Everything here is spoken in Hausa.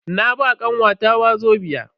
Na ba kanwata wazobia.